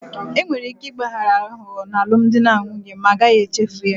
Enwere ike ịgbaghara aghụghọ n'alụmdi na nwunye ma a gaghị echefu ya